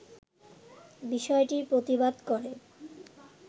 বিষয়টির প্রতিবাদ করে